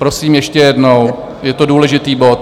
Prosím ještě jednou, je to důležitý bod.